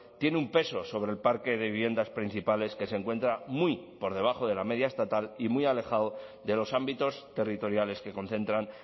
tiene un peso sobre el parque de viviendas principales que se encuentra muy por debajo de la media estatal y muy alejado de los ámbitos territoriales que concentran